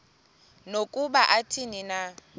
nokuba athini na